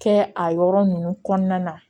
Kɛ a yɔrɔ ninnu kɔnɔna na